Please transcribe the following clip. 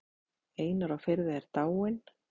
Einar á Firði er dáinn.